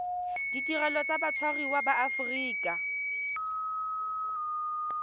ditirelo tsa batshwariwa ba aforika